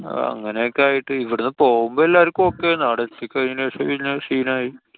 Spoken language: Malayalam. അഹ് അങ്ങനൊക്കെ ആയിട്ട്. ഇവിടന്നു പോവുമ്പോ എല്ലാര്‍ക്കും okay ആയിരുന്ന്. അവിടെ എത്തി കഴിഞ്ഞെനു ശേഷം പിന്നെ scene ആയി.